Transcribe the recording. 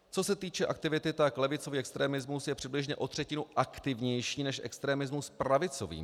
Co se týče aktivity, tak levicový extremismus je přibližně o třetinu aktivnější než extremismus pravicový.